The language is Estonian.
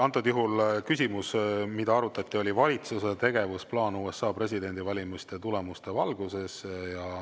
Antud juhul oli küsimus, mida arutati, valitsuse tegevusplaan USA presidendivalimiste tulemuste valguses.